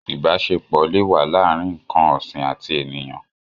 Ìbáṣepọ̀ le wà láàrín ǹn̄kàn ọ̀sìn àti ènìyàn.